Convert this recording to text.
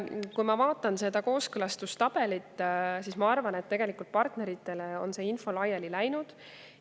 Kui ma vaatan kooskõlastustabelit, siis ma arvan, et tegelikult on partneritele see info laiali läinud.